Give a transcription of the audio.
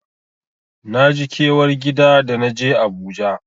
Naji kewar gida da naje Abuja.